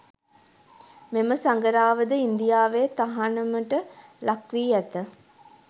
මෙම සඟරාවද ඉන්දියාවේ තහනමට ලක්වි ඇත.